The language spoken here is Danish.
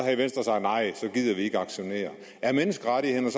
gider vi ikke aktionere er menneskerettighederne